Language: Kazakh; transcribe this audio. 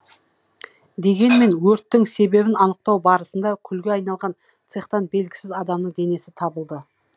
дегенмен өрттің себебін анықтау барысында күлге айналған цехтан белгісіз адамның денесі табылды